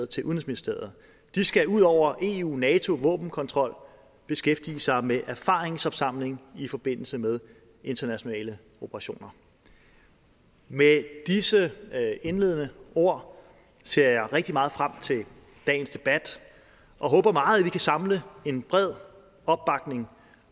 til udenrigsministeriet de skal ud over eu nato våbenkontrol beskæftige sig med erfaringsopsamling i forbindelse med internationale operationer med disse indledende ord ser jeg rigtig meget frem til dagens debat og håber meget at vi kan samle en bred opbakning